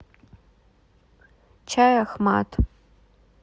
чай ахмад